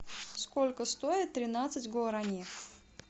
сколько стоит тринадцать гуарани